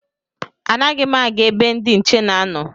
Anaghị m aga ebe ndị nche na-anọ